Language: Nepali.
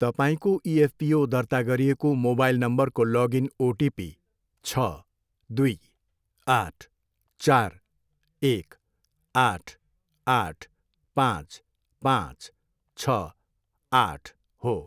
तपाईँको इएफपिओ दर्ता गरिएको मोबाइल नम्बरको लगइन ओटिपी छ, दुई, आठ, चार, एक, आठ, आठ, पाँच, पाँच, छ, आठ हो।